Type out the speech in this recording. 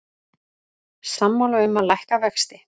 Sammála um að lækka vexti